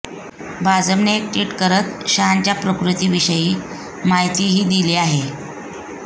भाजपने एक ट्विट करत शहांच्या प्रकृतीविषयी माहितीही दिली आहे